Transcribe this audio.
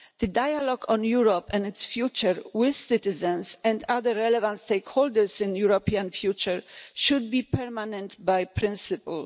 The dialogue on Europe and its future with citizens and other relevant stakeholders in European future should be permanent by principle.